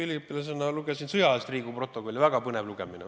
Üliõpilasena ma lugesin sõjaajast pärit Riigikogu stenogrammi, oli väga põnev lugemine.